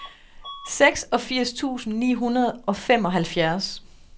seksogfirs tusind ni hundrede og femoghalvfjerds